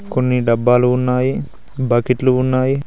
కొన్ని డబ్బాలు ఉన్నాయి బకెట్లు ఉన్నాయి.